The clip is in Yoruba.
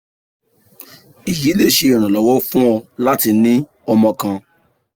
èyí le ṣe iranlọwọ fun ọ lati ni ọmọ kan